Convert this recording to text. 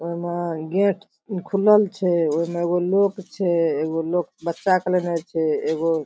ओय मे गेट खुलल छै ओय मे एगो लोक छै एगो लोक बच्चा के लेने छै एगो --